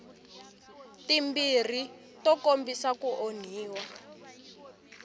timbirhi to kombisa ku onhiwa